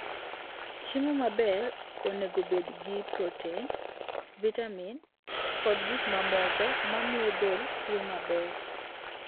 Chiemo maber onego obed gi protein, vitamin, kod gik mamoko mamiyo del tiyo maber.